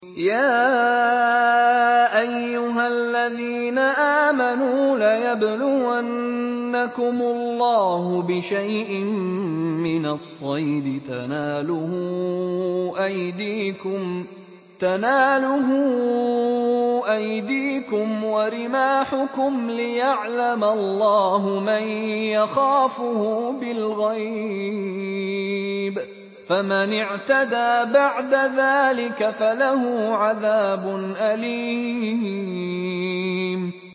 يَا أَيُّهَا الَّذِينَ آمَنُوا لَيَبْلُوَنَّكُمُ اللَّهُ بِشَيْءٍ مِّنَ الصَّيْدِ تَنَالُهُ أَيْدِيكُمْ وَرِمَاحُكُمْ لِيَعْلَمَ اللَّهُ مَن يَخَافُهُ بِالْغَيْبِ ۚ فَمَنِ اعْتَدَىٰ بَعْدَ ذَٰلِكَ فَلَهُ عَذَابٌ أَلِيمٌ